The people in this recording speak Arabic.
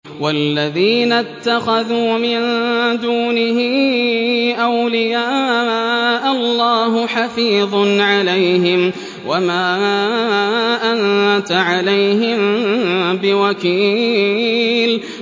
وَالَّذِينَ اتَّخَذُوا مِن دُونِهِ أَوْلِيَاءَ اللَّهُ حَفِيظٌ عَلَيْهِمْ وَمَا أَنتَ عَلَيْهِم بِوَكِيلٍ